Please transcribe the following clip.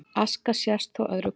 Aska sést þó öðru hvoru